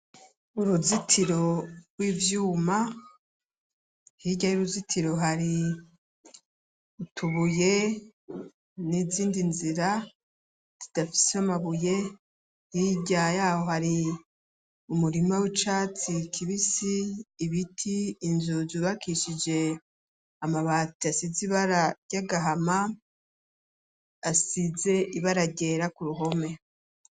Uruzitiro rw'ivyuma hirya y'uruzitiro hari utubuye n'izindi nzira zidafise amabuye hirya yaho hari umurima w'icatsi kibisi ibiti inzu zubakishije amabati asize ibara ryagahama asize ibara ryera ku ruhome.